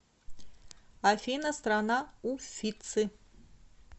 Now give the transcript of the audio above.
афина страна уффици